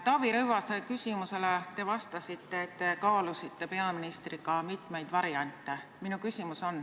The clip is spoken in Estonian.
Taavi Rõivase küsimusele te vastasite, et te kaalusite peaministriga mitmeid variante.